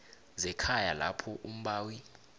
zekhaya lapho umbawi